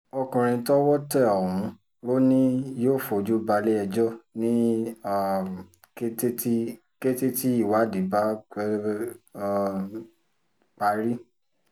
ọkùnrin tọ́wọ́ tẹ ọ̀hún lọ ni yóò fojú balẹ̀-ẹjọ́ ní um kété tí kété tí ìwádìí bá ti um parí